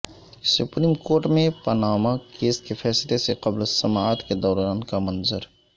supreme court میں Panama case کے فیصلے سے قبل سماعت کے دوران کا منظر